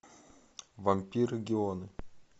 вампиры геоны